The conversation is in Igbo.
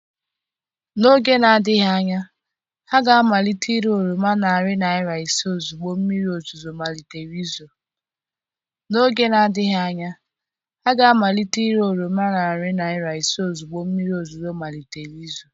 N'oge na-adịghị anya, ha ga-amalite ire oroma narị naira ise ozugbo mmiri ozuzo malitere izo.